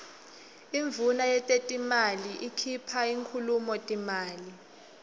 induuna yetetimali ikuipha inkhulumo timali